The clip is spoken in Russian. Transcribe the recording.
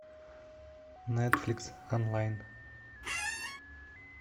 нетфликс онлайн